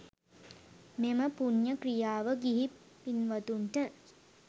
මෙම පුණ්‍ය ක්‍රියාව ගිහි පින්වතුන්ට